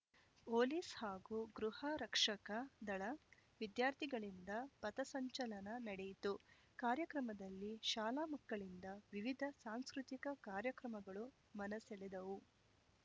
police ಹಾಗೂ ಗೃಹರಕ್ಷಕ ದಳ ವಿದ್ಯಾರ್ಥಿಗಳಿಂದ ಪಥಸಂಚಲನ ನಡೆಯಿತು ಕಾರ್ಯಕ್ರಮದಲ್ಲಿ ಶಾಲಾ ಮಕ್ಕಳಿಂದ ವಿವಿಧ ಸಾಂಸ್ಕೃತಿಕ ಕಾರ್ಯಕ್ರಮಗಳು ಮನಸೆಳೆದವು